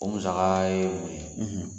O musaka ye mun ye